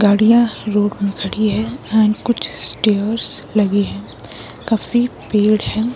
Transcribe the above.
गाड़ियां रोड में खड़ी है एंड कुछ स्टेयर्स लगे हैं काफी पेड़ है